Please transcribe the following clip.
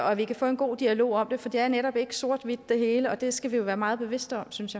og at vi kan få en god dialog om det for det er netop ikke sort eller hvidt det hele og det skal vi jo være meget bevidste om synes